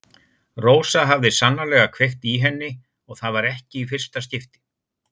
Rósa hafði sannarlega kveikt í henni og það var ekki í fyrsta skipti.